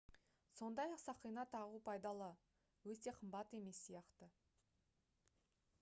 сондай-ақ сақина тағу пайдалы өте қымбат емес сияқты